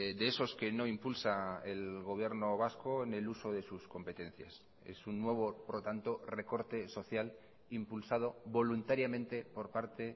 de esos que no impulsa el gobierno vasco en el uso de sus competencias es un nuevo por lo tanto recorte social impulsado voluntariamente por parte